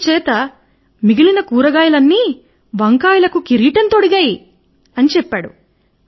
అందుచేత మిగిలిన కూరగాయల్ని వంకాయకు కిరీటం తొడిగారు అని చెప్పాడు